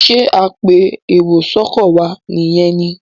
ṣe apẹ èrò sóko wá ní yén ní?